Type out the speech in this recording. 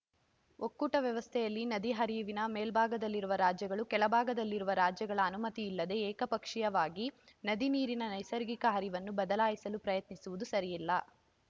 ಒಕ್ಕೂಟ ವ್ಯವಸ್ಥೆಯಲ್ಲಿ ನದಿ ಹರಿವಿನ ಮೇಲ್ಭಾಗದಲ್ಲಿರುವ ರಾಜ್ಯಗಳು ಕೆಳ ಭಾಗದಲ್ಲಿರುವ ರಾಜ್ಯಗಳ ಅನುಮತಿಯಿಲ್ಲದೆ ಏಕಪಕ್ಷೀಯವಾಗಿ ನದಿ ನೀರಿನ ನೈಸರ್ಗಿಕ ಹರಿವನ್ನು ಬದಲಾಯಿಸಲು ಪ್ರಯತ್ನಿಸುವುದು ಸರಿಯಲ್ಲ